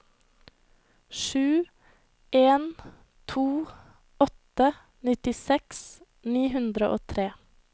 sju en to åtte nittiseks ni hundre og tre